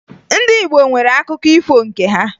Ndị Igbo nwere akụkọ ifo nke ha